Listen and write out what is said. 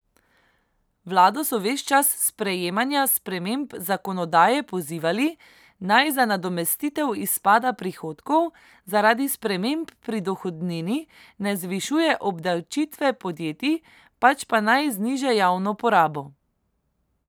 Vlado so ves čas sprejemanja sprememb zakonodaje pozivali, naj za nadomestitev izpada prihodkov zaradi sprememb pri dohodnini ne zvišuje obdavčitve podjetij, pač pa naj zniža javno porabo.